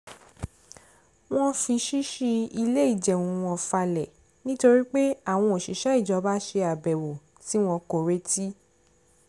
wọ́n fi ṣíṣí ilé ìjẹun wọn falẹ̀ nítorí pé àwọn òṣìṣẹ́ ìjọba ṣe àbèwò tí wọn kò retí